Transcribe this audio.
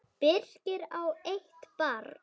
Birkir á eitt barn.